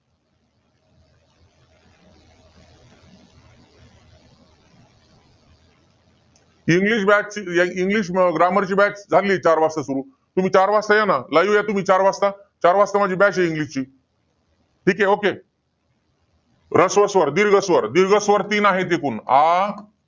English batch english grammar ची batch लागली चार वाजता सुरु. तुम्ही चार वाजता या ना. Live या चार वाजता. चार वाजता माझी batch आहे english ची. ठीके ह्रस्व स्वर, दीर्घ स्वर. दीर्घ स्वर तीन आहेत एकूण. आ